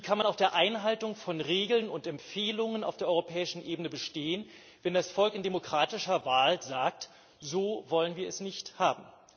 Wie kann man auf der Einhaltung von Regelungen und Empfehlungen auf der europäischen Eben bestehen, wenn das Volk in demokratischer Wahl sagt, so wollen wir es nicht haben?